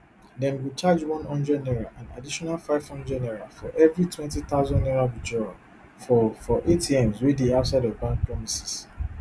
dem go charge one hundred naira and additional five hundred naira for evri twenty thousand naira withdrawal for for atms wey dey outside of bank premises